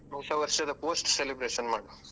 ಹೊಸ ವರ್ಷದ post celebration ಮಾಡುವ.